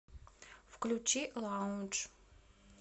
включи лаундж